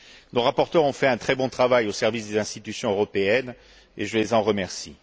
Nos rapporteurs ont fait un très bon travail au service des institutions européennes, et je les en remercie.